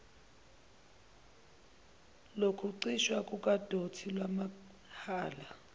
lokuchithwa kukadoti lwamahhala